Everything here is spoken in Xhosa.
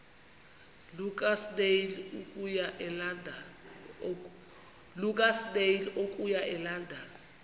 lukasnail okuya elondon